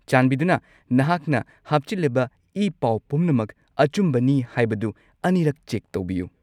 ꯆꯥꯟꯕꯤꯗꯨꯅ ꯅꯍꯥꯛꯅ ꯍꯥꯞꯆꯤꯜꯂꯤꯕ ꯏ-ꯄꯥꯎ ꯄꯨꯝꯅꯃꯛ ꯑꯆꯨꯝꯕꯅꯤ ꯍꯥꯏꯕꯗꯨ ꯑꯅꯤꯔꯛ ꯆꯦꯛ ꯇꯧꯕꯤꯌꯨ꯫